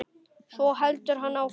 Svo heldur hann áfram